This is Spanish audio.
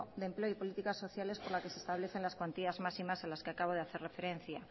de empleo y políticas sociales por la que se establecen las cuantías máximas a las que acabo de hacer referencia